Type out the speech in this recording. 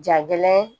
Jagɛlɛn